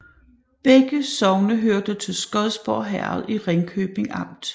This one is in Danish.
Begge sogne hørte til Skodborg Herred i Ringkøbing Amt